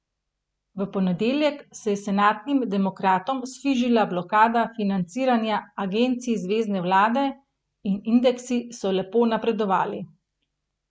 V ponedeljek se je senatnim demokratom sfižila blokada financiranja agencij zvezne vlade in indeksi so lepo napredovali.